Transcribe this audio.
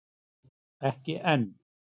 Ekki enn